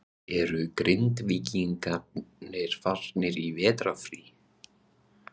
Eru Grindvíkingar farnir í vetrarfrí?